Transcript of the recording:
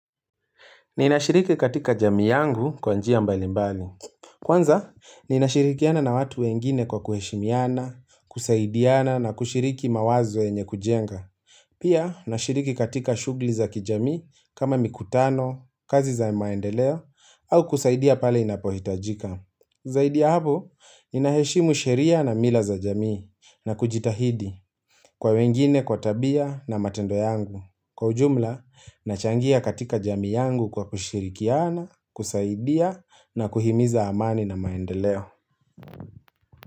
Ninashiriki katika jamii yangu kwa njia mbali mbali. Kwanza, ninashirikiana na watu wengine kwa kuheshimiana, kusaidiana na kushiriki mawazo yenye kujenga. Pia, nashiriki katika shughuli za kijamii kama mikutano, kazi za maendeleo, au kusaidia pale inapohitajika. Zaidi ya hapo, ninaheshimu sheria na mila za jamii na kujitahidi kwa wengine kwa tabia na matendo yangu. Kwa ujumla, nachangia katika jamii yangu kwa kushirikiana, kusaidia na kuhimiza amani na maendeleo.